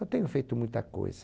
Eu tenho feito muita coisa.